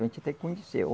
A gente tem que conhecer.